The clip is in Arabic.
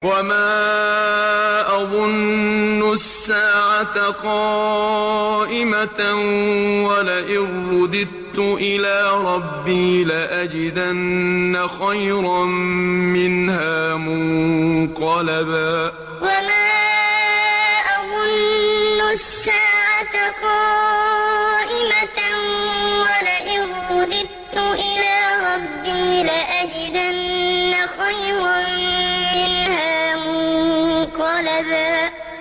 وَمَا أَظُنُّ السَّاعَةَ قَائِمَةً وَلَئِن رُّدِدتُّ إِلَىٰ رَبِّي لَأَجِدَنَّ خَيْرًا مِّنْهَا مُنقَلَبًا وَمَا أَظُنُّ السَّاعَةَ قَائِمَةً وَلَئِن رُّدِدتُّ إِلَىٰ رَبِّي لَأَجِدَنَّ خَيْرًا مِّنْهَا مُنقَلَبًا